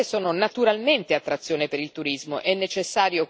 Le zone costiere sono naturalmente un'attrazione per il turismo.